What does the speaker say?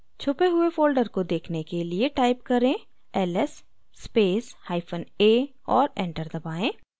छुपे हुए folder को देखने के लिए type करें: ls space hyphen a और enter दबाएँ